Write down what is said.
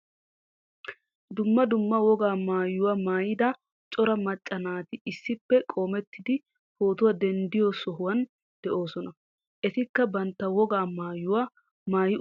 Dumma dumma wogaa maayuwa maayida cora macca naati issippe qoomettidi pootuwa denddido sohuwan de'oosona. Etikka bantta wogaa maayuwa maaui uttidosona.